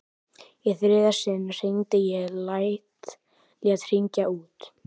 Í þriðja sinn hringdi ég, lét hringja út.